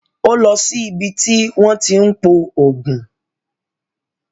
Ó lọ sí ibi tí wọ́n tí ń pò oògùn